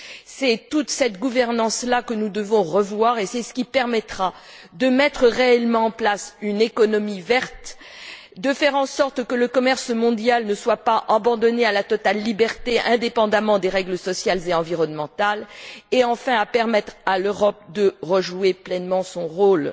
C'est toute cette gouvernance là que nous devons revoir et c'est ce qui permettra de mettre réellement en place une économie verte, de faire en sorte que le commerce mondial ne soit pas abandonné à une totale liberté, indépendamment des règles sociales et environnementales, et, enfin, de permettre à l'Europe de rejouer pleinement son rôle.